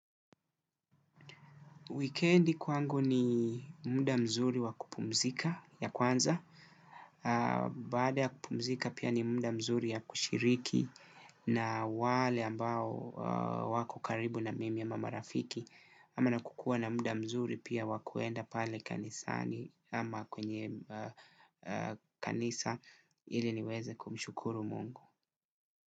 Wikendi kwangu ni muda mzuri wa kupumzika ya kwanza, baada ya kupumzika pia ni muda mzuri ya kushiriki na wale ambao wako karibu na mimi ama marafiki, ama na kukua na muda mzuri pia wa kuenda pale kanisani ama kwenye kanisa ili niweze kumshukuru mungu.